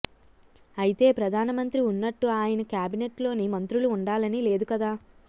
అయితే ప్రధానమంత్రి ఉన్నట్టు ఆయన క్యాబినెట్ లోని మంత్రులు ఉండాలని లేదు కదా